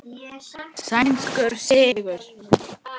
Sænskur sigur.